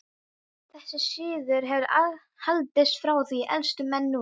Þessi siður hefur haldist frá því elstu menn muna.